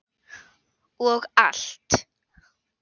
Og allt.